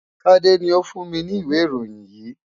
Tade ni ó fún mi ní ìwé ìròyìn yìí.